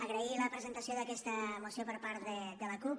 agrair la presentació d’aquesta moció per part de la cup